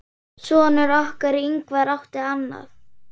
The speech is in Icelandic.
Sonur okkar, Ingvar, átti annað.